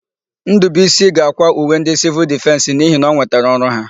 Ndụbụisi ga-àkwá uwe ndị Sịvịl Difensị n'ihi na o nwetara ọrụ ha.